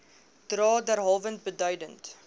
dra derhalwe beduidend